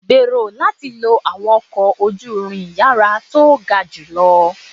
Gbero lati lo awọn ọkọ oju-irin iyara to ga julọ